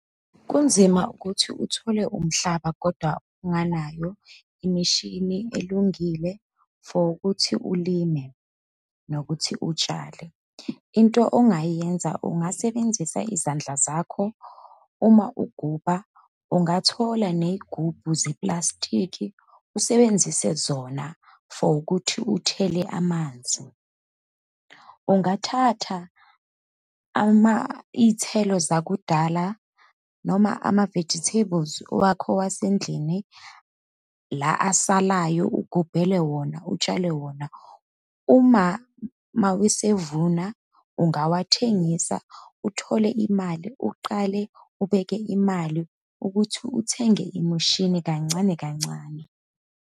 Kunzima ukuthi uthole umhlaba, kodwa unganayo imishini elungile for ukuthi ulime nokuthi utshale. Into ongayenza ungasebenzisa izandla zakho, uma ugubha, ungathola ney'gubhu zepulasitiki usebenzise zona for ukuthi uthele amanzi. Ungathatha ama, iy'thelo zakudala, noma ama-vegetables wakho wasendlini la asalayo, ugubhele wona, utshale wona. Uma mawesevuna ungawathengisa uthole imali, uqale ubeke imali ukuthi uthenge imishini kancane kancane.